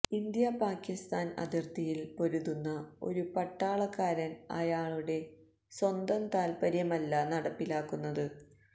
India Pakistan അതിർത്തിയിൽ പൊരുതുന്ന ഒരു പട്ടാളക്കാരൻ അയാളുടെ സ്വന്തം താത്പര്യമല്ല നടപ്പിലാക്കുന്നത്